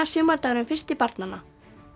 sumardagurinn fyrsti barnanna